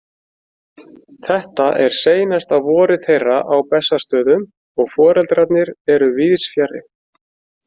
Þetta er seinasta vorið þeirra á Bessastöðum og foreldrarnir eru víðs fjarri.